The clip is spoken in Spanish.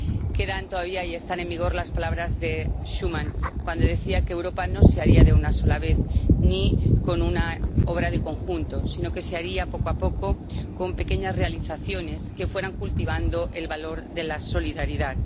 Quedan todavía y están en vigor las palabras de Robert Schuman, cuando decía que Europa no se haría de una sola vez ni con una obra de conjunto, sino que se haría poco a poco, con pequeñas realizaciones que fueran cultivando el valor de la solidaridad.